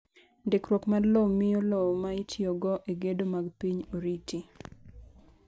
Ndikruok mar lowo miyo lowo ma itiyogo e gedo mag piny oriti.